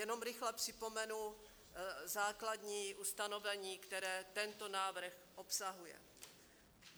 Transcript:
Jenom rychle připomenu základní ustanovení, které tento návrh obsahuje.